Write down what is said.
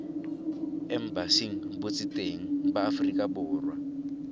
embasing botseteng ba aforika borwa